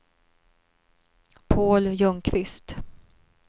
Paul Ljungqvist